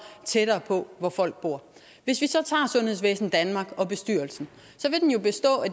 tættere på hvor folk bor hvis vi så tager sundhedsvæsen danmark og bestyrelsen vil den jo bestå af